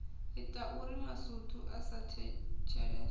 itauri masutu a sa thetshelese